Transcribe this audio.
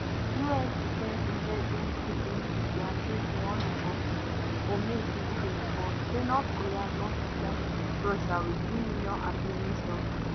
us defence intelligence agency dia say for one report for may 2024 say north korea don supply russia wit three million artillery shells